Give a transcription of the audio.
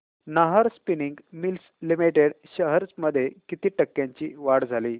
Nahar spinning mills limited shares मध्ये किती टक्क्यांची वाढ झाली